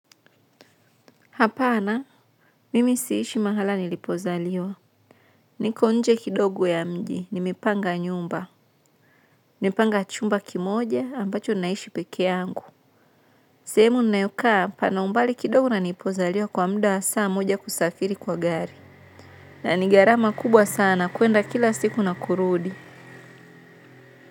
Hapana, mimi siishi mahala nilipozaliwa. Niko nje kidogo ya mji. Nimepanga nyumba. Nimepanga chumba kimoja, ambacho naishi peke yangu. Sehemu ninayokaa, pana umbali kidogo na nilipozaliwa kwa muda wa saa moja kusafiri kwa gari. Na nigharama kubwa sana, kuenda kila siku na kurudi.